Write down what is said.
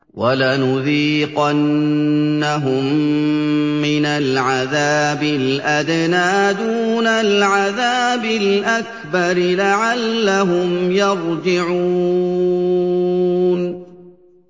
وَلَنُذِيقَنَّهُم مِّنَ الْعَذَابِ الْأَدْنَىٰ دُونَ الْعَذَابِ الْأَكْبَرِ لَعَلَّهُمْ يَرْجِعُونَ